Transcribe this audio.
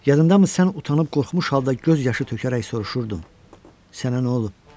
Yadındamı sən utanıb qorxmuş halda göz yaşı tökərək soruşurdun: Sənə nə olub?